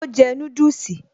Ó jẹ núdùsì